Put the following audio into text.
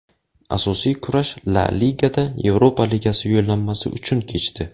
Asosiy kurash La ligada Yevropa ligasi yo‘llanmasi uchun kechdi.